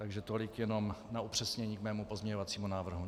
Takže tolik jenom na upřesnění k mému pozměňovacímu návrhu.